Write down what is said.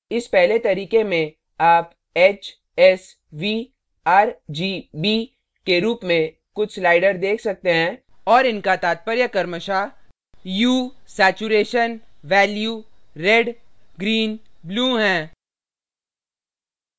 इस पहले तरीके में आप h s v r g b के रूप में कुछ sliders देख सकते हैं और इनका तात्पर्य क्रमशः hue hue saturation saturation value value red red green green blue blue हैं